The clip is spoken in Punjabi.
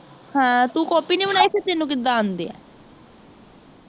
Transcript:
ਹਾਂ ਤੂੰ copy ਨੀ ਬਨਾਇ ਸੀ ਤੈਨੂੰ ਕਿਦਾ ਆਂਦੀ ਹੈ